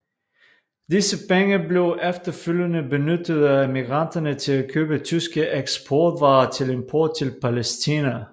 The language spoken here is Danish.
Disse penge blev efterfølgende benyttet af emigranterne til at købe tyske eksportvarer til import til Palæstina